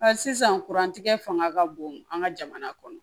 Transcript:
sisan fanga ka bon an ka jamana kɔnɔ